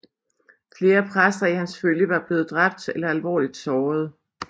Flere præster i hans følge var blevet dræbt eller alvorligt såret